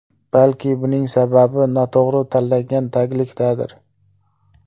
Balki buning sababi noto‘g‘ri tanlangan taglikdadir.